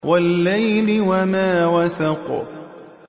وَاللَّيْلِ وَمَا وَسَقَ